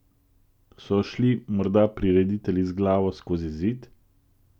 So šli morda prireditelji z glavo skozi zid?